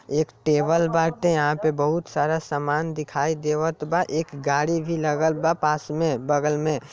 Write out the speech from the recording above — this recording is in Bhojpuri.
एक टेबल बाटे यहाँ पे बोहोत सारा सामान दिखाई देवत बा एक गाड़ी भी लागल बा पास मे बगल में।